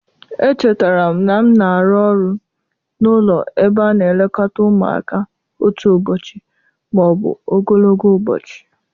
Echetara m na m na-arụ ọrụ n'ụlọ ebe a na-elekọta ụmụaka otu ụbọchị ma ọ bụ ogologo ụbọchị